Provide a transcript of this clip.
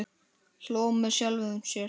Hló með sjálfum sér.